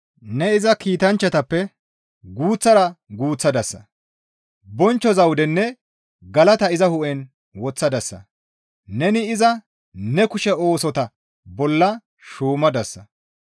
Ne iza kiitanchchatappe guuththara guuththadasa. Bonchcho zawudenne galata iza hu7en woththadasa. Neni iza ne kushe oosota bolla shuumadasa.